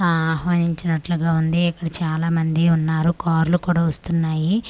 ఆ ఆహ్వానించినట్లుగా ఉంది ఇక్కడ చాలా మంది ఉన్నారు కార్లు కూడా వస్తున్నాయి .]